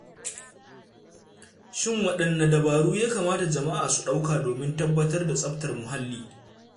Shin waɗanne dabaru ya kamata jama'a su ɗauka domin tabbatar da tsaftar muhalli?